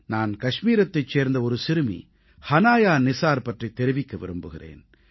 நான் கஷ்மீரத்தைச் சேர்ந்த ஒரு சிறுமி ஹனாயா நிஸார் பற்றித் தெரிவிக்க விரும்புகிறேன்